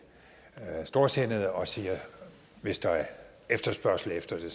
storsindede og siger at hvis der er efterspørgsel efter det